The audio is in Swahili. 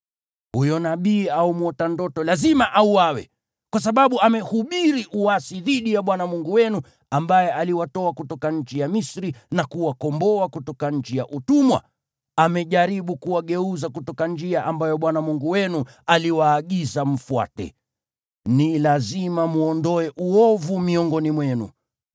Huyo nabii au mwota ndoto lazima auawe, kwa sababu amehubiri uasi dhidi ya Bwana Mungu wenu, ambaye aliwatoa kutoka nchi ya Misri na kuwakomboa kutoka nchi ya utumwa; amejaribu kuwageuza kutoka njia ambayo Bwana Mungu wenu aliwaagiza mfuate. Ni lazima mwondoe uovu miongoni mwenu.